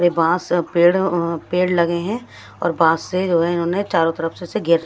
रे बांस अ पेड़ अ पेड़ लगे हैं और बांस से ये इन्होंने चारों तरफ से घेर --